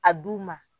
A du ma